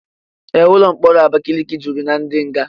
Ee, ụlọ mkpọrọ Abakaliki juru na ndi nga.